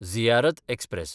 Ziyarat express